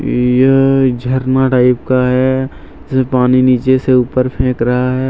यह झरना टाइप का है जैसे पानी नीचे से ऊपर फेंक रहा है।